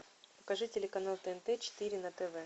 покажи телеканал тнт четыре на тв